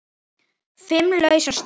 Fimm lausar stöður?